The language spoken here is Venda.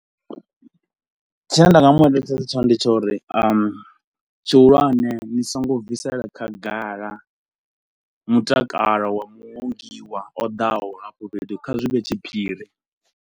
Tshine nda nga mu eletshedza tshone ndi tsha uri tshihulwane ni so ngo bvisela khagala mutakalo wa muongiwa o ḓaho hafho fhethu, kha zwi vhe tshiphiri.